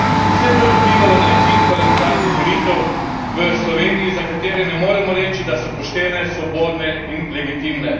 Vse to je vplivalo na izid parlamentarnih volitev v Sloveniji, za katere ne moremo reči, da so poštene, svobodne in legitimne.